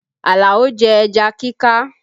Alao jẹ ẹja kíká